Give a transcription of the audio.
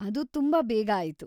ಅದು ತುಂಬಾ ಬೇಗ ಆಯ್ತು.